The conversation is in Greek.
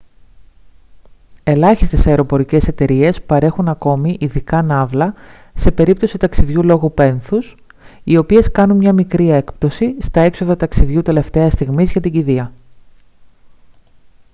ελάχιστες αεροπορικές εταιρείες παρέχουν ακόμη ειδικά ναύλα σε περίπτωση ταξιδιού λόγω πένθους οι οποίες κάνουν μια μικρή έκπτωση στα έξοδα ταξιδιού τελευταίας στιγμής για την κηδεία